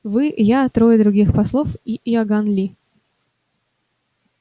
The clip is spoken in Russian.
вы я трое других послов и иоганн ли